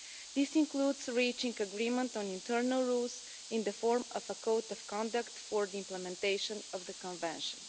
This includes reaching agreement on internal rules in the form of a code of conduct for the implementation of the Convention.